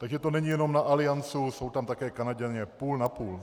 Takže to není jenom na Allianz, jsou tam také Kanaďané - půl na půl.